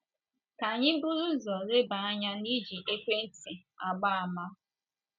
Ka anyị buru ụzọ leba anya n’iji ekwentị agba àmà.